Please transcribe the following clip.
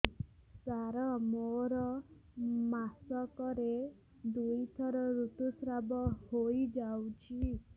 ସାର ମୋର ମାସକରେ ଦୁଇଥର ଋତୁସ୍ରାବ ହୋଇଯାଉଛି